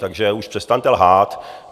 Takže už přestaňte lhát.